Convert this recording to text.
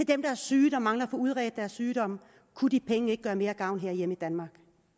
dem der er syge og mangler at få udredt deres sygdomme kunne de penge ikke gøre mere gavn herhjemme i danmark